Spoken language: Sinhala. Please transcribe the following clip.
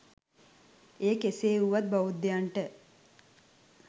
එය කෙසේ වුවත් බෞද්ධයන්ට